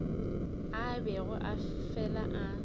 a bego a fela a